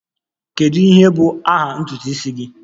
Kedu ihe bụ aha ntutu isi gị?